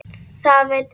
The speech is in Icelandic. Það veit enginn